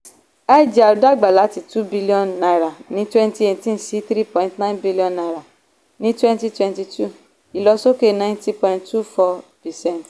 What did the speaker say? igr dàgbà láti two billion naira ní twenty eighteen sí three point two billion naira ní twenty twenty two ìlọ̀sókè ninety point two four percent.